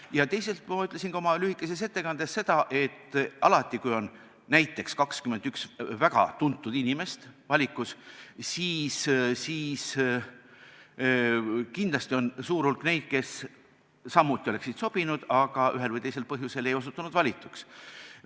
Ja teiseks, ma ütlesin oma lühikeses ettekandes ka seda, et alati, kui valikus on näiteks 21 väga tuntud inimest, siis kindlasti on suur hulk neid, kes samuti oleksid sobinud, aga ühel või teisel põhjusel ei osutunud valituks.